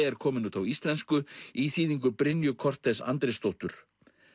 er komin út á íslensku í þýðingu Brynju Andrésdóttur